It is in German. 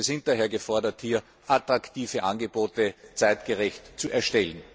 Wir sind daher gefordert, attraktive Angebote zeitgerecht zu erstellen.